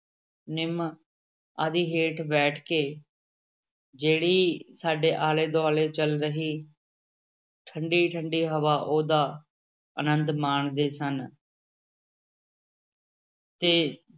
ਨਿੰਮ ਆਦਿ ਹੇਠ ਬੈਠ ਕੇ ਜਿਹੜੀ ਸਾਡੇ ਆਲੇ ਦੁਆਲੇ ਚੱਲ ਰਹੀ ਠੰਢੀ ਠੰਢੀ ਹਵਾ ਉਹਦਾ ਆਨੰਦ ਮਾਣਦੇ ਸਨ ਤੇ